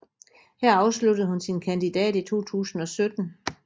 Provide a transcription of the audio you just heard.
Her afsluttede hun sin kandidat i 2017